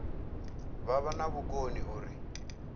vha vha na vhukoni uri